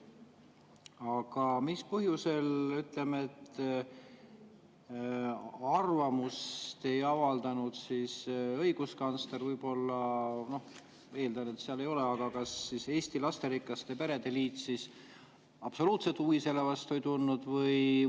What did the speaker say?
Aga mis põhjusel ei avaldanud arvamust – õiguskantsleril, eeldan, ei ole – Eesti Lasterikaste Perede Liit, kes absoluutselt selle vastu huvi ei tundnud?